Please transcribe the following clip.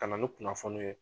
Ka na ni kunnafoniw ye.